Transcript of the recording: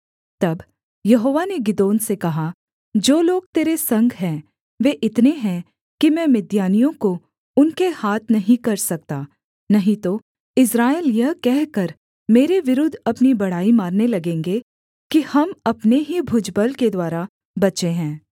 तब यहोवा ने गिदोन से कहा जो लोग तेरे संग हैं वे इतने हैं कि मैं मिद्यानियों को उनके हाथ नहीं कर सकता नहीं तो इस्राएल यह कहकर मेरे विरुद्ध अपनी बड़ाई मारने लगेंगे कि हम अपने ही भुजबल के द्वारा बचे हैं